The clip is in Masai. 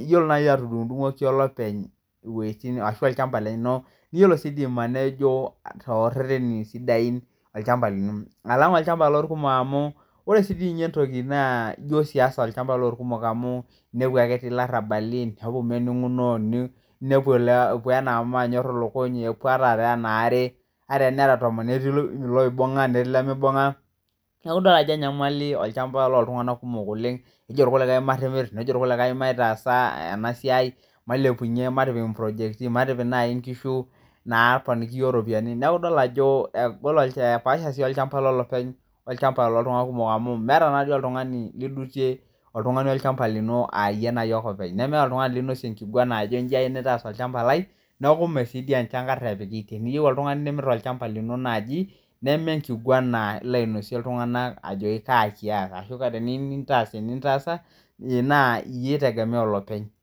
iyiolo naaji atudung'dung'oki olopeny iwojitin arashu olchamba lino ,niyiolo sii duo aimanejoo too rereni sidain olchamba lino alang' olchamba lolkumook amu ore sii duo ninye entoko ijo siasa olchamba loolkumook amu inepu ake etii ilarabali , neeku mening'uno neepuo anaa manyorr ilukuny epopuo anaa maare ata teneraa tomon netii iloibung'a netii ilemeibung'a neeku idol ajo enyamali olchamba lool tung'anaak kumook oleng' nejoo ilkulikae maatimirr , neejo ilkulikae maitaasa enasiai mailepunye matipik inprojekti , maatipik naaji inkishu naaponiki iyiok ropiyiani , neeku idol ajo egol epaasha olchamba lolopeny olchamba lool tung'anak kumook amuu meeta naatoi oltung'ani lidutie oltung'ani olchamba lino aayie ake openy nemeeta oltung'ani linosie enkiguana ajo inji ayie naitaas olchamba lai ,neeku sii maa jii enchankarr epiki , teniyiu oltung'ani nimirr olchamba lino naaji nemee enkiguana ilo ainosie iltung'anaak ajoki kaa kiata ashu teniyiu nintaas enintaasa naa iyie eitegemea olopeny .